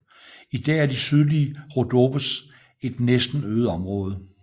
I dag er de sydlige Rhodopes et næsten øde område